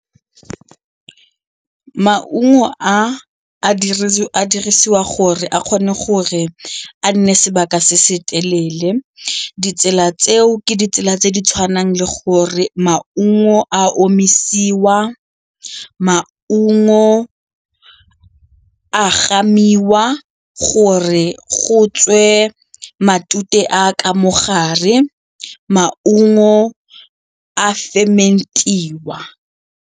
Maungo a a dirisiwa gore a kgone gore a nne sebaka se se telele. Ditsela tseo ke ditsela tse di tshwanang le gore maungo a omisiwa, maungo a gamiwa gore go tswe matute a ka mo gare, maungo a ferment-iwa.